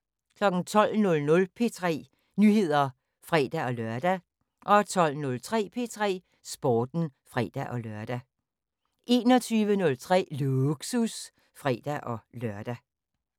12:00: P3 Nyheder (fre-lør) 12:03: P3 Sporten (fre-lør) 21:03: Lågsus (fre-lør)